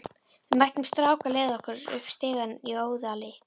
Við mættum strák á leið okkar upp stigann í Óðali.